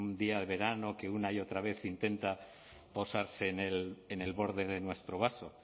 día el verano que una y otra vez intenta cosas en el borde de nuestro vaso